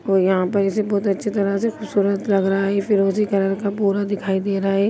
यहां पर बहुत ही अच्छी तरह से खूबसूरत लग रहा है। ये फिरोजी कलर का पूरा दिखाई दे रहा है।